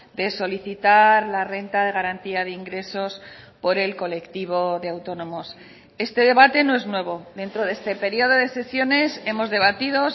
de solicitar la renta de garantía de ingresos por el colectivo de autónomos este debate no es nuevo dentro de este periodo de sesiones hemos debatido